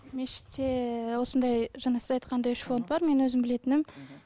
мешітте осындай жаңа сіз айтқандай үш фонд бар мен өзім білетінім